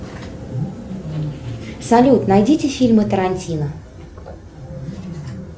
салют найдите фильмы тарантино